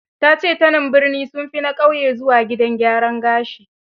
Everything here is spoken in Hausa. Ta ce; tanen birni, sun fi na ƙauye zuwa gidan gyaran gashi.